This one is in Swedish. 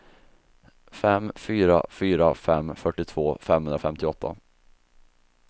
fem fyra fyra fem fyrtiotvå femhundrafemtioåtta